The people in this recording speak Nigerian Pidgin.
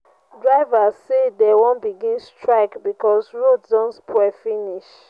drivers say dey wan begin strike because road don spoil finish.